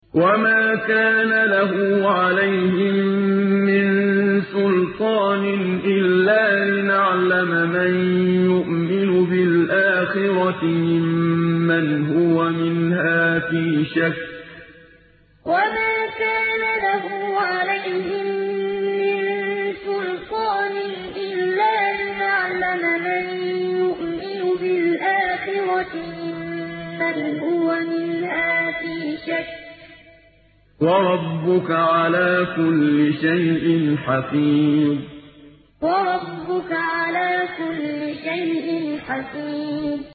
وَمَا كَانَ لَهُ عَلَيْهِم مِّن سُلْطَانٍ إِلَّا لِنَعْلَمَ مَن يُؤْمِنُ بِالْآخِرَةِ مِمَّنْ هُوَ مِنْهَا فِي شَكٍّ ۗ وَرَبُّكَ عَلَىٰ كُلِّ شَيْءٍ حَفِيظٌ وَمَا كَانَ لَهُ عَلَيْهِم مِّن سُلْطَانٍ إِلَّا لِنَعْلَمَ مَن يُؤْمِنُ بِالْآخِرَةِ مِمَّنْ هُوَ مِنْهَا فِي شَكٍّ ۗ وَرَبُّكَ عَلَىٰ كُلِّ شَيْءٍ حَفِيظٌ